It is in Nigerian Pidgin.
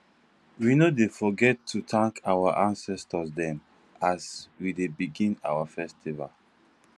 we no dey forget to tank our ancestor dem as we dey begin our festival